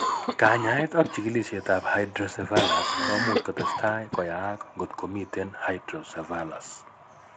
Kanyaet ak chigilisiet ab hydrocephalus komuch kotestai koyaak kot komiten hydrocephalus